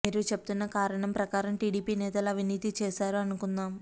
మీరు చెప్తున్నా కారణం ప్రకారం టీడీపీ నేతలు అవినీతి చేసారు అనుకుందాం